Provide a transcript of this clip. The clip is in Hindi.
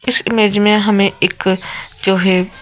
इस इमेज में हमें एक जो है।